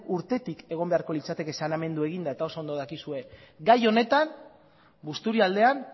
urtetik egon beharko litzateke saneamendua eginda eta oso ondo dakizue gai honetan busturialdean